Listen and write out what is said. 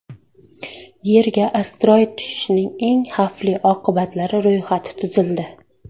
Yerga asteroid tushishining eng xavfli oqibatlari ro‘yxati tuzildi.